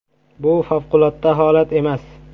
“Bu favqulodda holat emas.